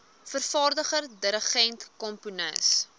vervaardiger dirigent komponis